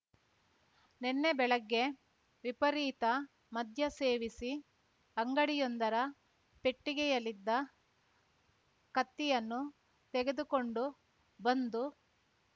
ನೆನ್ನೆ ಬೆಳಗ್ಗೆ ವಿಪರೀತ ಮದ್ಯ ಸೇವಿಸಿ ಅಂಗಡಿಯೊಂದರ ಪೆಟ್ಟಿಗೆಯಲ್ಲಿದ್ದ ಕತ್ತಿಯನ್ನು ತೆಗೆದುಕೊಂಡು ಬಂದು